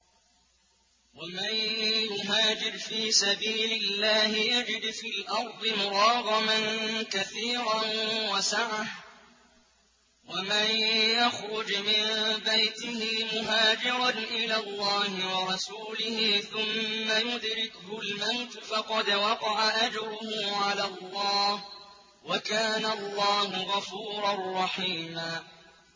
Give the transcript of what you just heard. ۞ وَمَن يُهَاجِرْ فِي سَبِيلِ اللَّهِ يَجِدْ فِي الْأَرْضِ مُرَاغَمًا كَثِيرًا وَسَعَةً ۚ وَمَن يَخْرُجْ مِن بَيْتِهِ مُهَاجِرًا إِلَى اللَّهِ وَرَسُولِهِ ثُمَّ يُدْرِكْهُ الْمَوْتُ فَقَدْ وَقَعَ أَجْرُهُ عَلَى اللَّهِ ۗ وَكَانَ اللَّهُ غَفُورًا رَّحِيمًا